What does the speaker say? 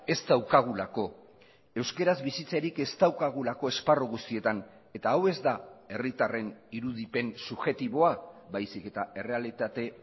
ez daukagulako euskaraz bizitzerik ez daukagulako esparru guztietan eta hau ez da herritarren irudipen subjektiboa baizik eta errealitate